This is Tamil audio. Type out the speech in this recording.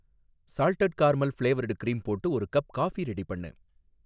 சால்ட்டட் கார்மல் ஃப்ளேவர்டு க்ரீம் போட்டு ஒரு கப் காஃபி ரெடி பண்ணு